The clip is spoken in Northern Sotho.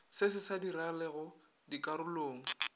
se se sa diragalego dikarolong